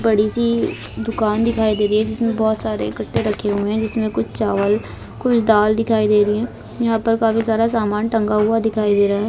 बड़ी सी दुकान दिखाई दे रही है जिसमे बहुत सारे इक्कट्ठे रखे हुए है जिसमे कुछ चावल कुछ दाल दिखाई दे रही है यहां पर काफी सारा सामान टंगा हुआ दिखाई दे रहा है।